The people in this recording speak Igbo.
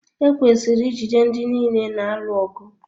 Ekwesịrị ijide ndị niile na-alụ ọgụ.